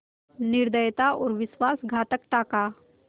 निर्दयता और विश्वासघातकता का